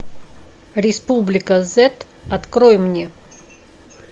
республика зет открой мне